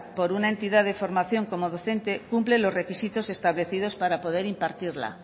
por una entidad de formación como docente cumple los requisitos establecidos para poder impartirla